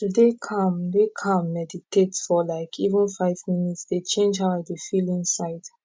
to dey calm dey calm meditate for like even five minutes dey change how i dey feel inside